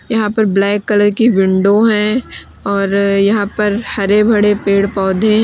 यहां पर black colour की विंडो है और यहां पर हरे भरे पेड़ पौधे है।